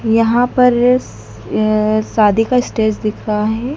यहां पर अ शादी का स्टेज दिख रहा है।